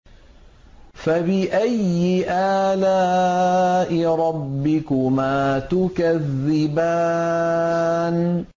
فَبِأَيِّ آلَاءِ رَبِّكُمَا تُكَذِّبَانِ